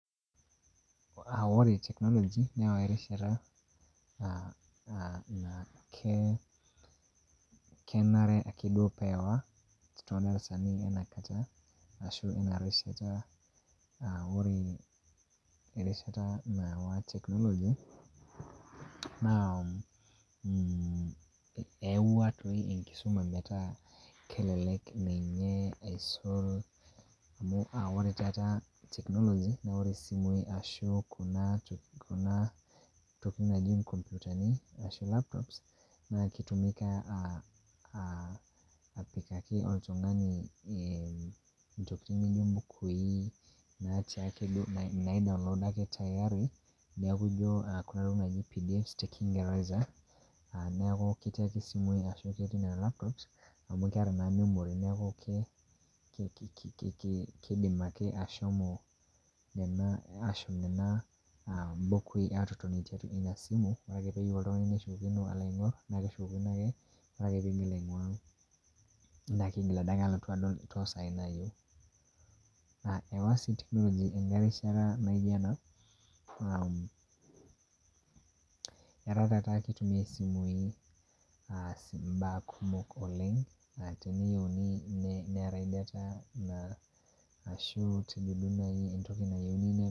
ore technology neewa erishata ore erishata nawa technology naa eyawua enkisuma metaa kelelek aisul kuna tokitin naaji laptops